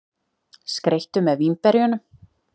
Skreyttu með vínberjunum.